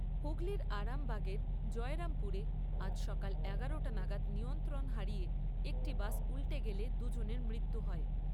হুগলির আরামবাগের জয়রামপুরে আজ সকাল এগারোটা নাগাদ নিয়ন্ত্রণ হারিয়ে একটি বাস উল্টে গেলে দু'জনের মৃত্যু হয়।